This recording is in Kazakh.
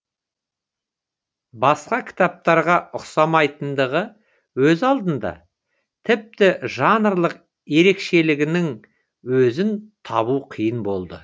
басқа кітаптарға ұқсамайтындығы өз алдына тіпті жанрлық ерекшелігінің өзін табу қиын болды